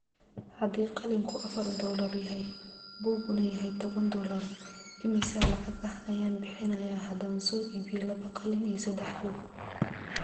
haddii qalinku afar dollar yahay, buuguna yahay toban doollar, immisa lacag ah ayaan bixinayaa haddaan soo iibiyo laba qalin iyo saddex buug?